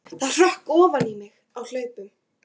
Það hrökk ofan í mig á hlaupunum.